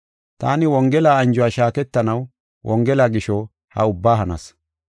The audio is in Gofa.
Taani wongela anjuwa shaaketanaw, wongela gisho, ha ubbaa hanas.